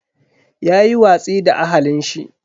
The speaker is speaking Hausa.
Yayi watsi da ahalin shi.